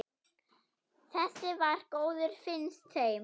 Þessi var góður, finnst þeim.